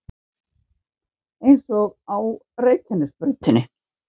Eins og á Reykjanesbrautinni